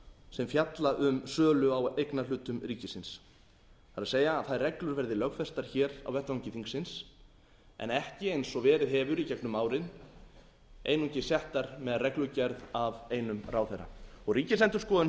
sem fjalla um sölu á eignarhlutum ríkisins það er að þær reglur verði lögfestar hér á vettvangi þingsins en ekki eins og verið hefur í gegnum árin einungis settar með reglugerð af einum ráðherra ríkisendurskoðun hefur bent ríkisendurskoðun